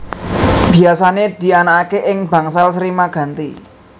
Biyasané dianakaké ing Bangsal Sri Maganti